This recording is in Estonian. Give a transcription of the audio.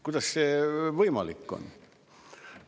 Kuidas see võimalik on?!